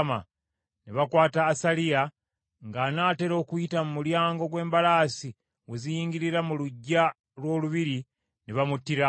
Ne bakwata Asaliya, ng’anaatera okuyita mu mulyango gw’embalaasi w’eziyingira mu luggya lw’olubiri, ne bamuttira awo.